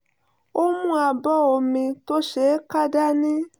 ó mú abọ́ omi tó ṣeé ká dání